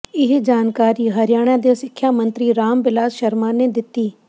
ਇਹ ਜਾਣਕਾਰੀ ਹਰਿਆਣਾ ਦੇ ਸਿੱਖਿਆ ਮੰਤਰੀ ਰਾਮ ਬਿਲਾਸ ਸ਼ਰਮਾ ਨੇ ਦਿੱਤੀ